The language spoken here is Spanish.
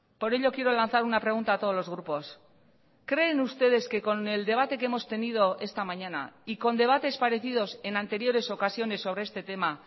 por ello quiero lanzar una pregunta a todos los grupos creen ustedes que con el debate que hemos tenido esta mañana y con debates parecidos en anteriores ocasiones sobre este tema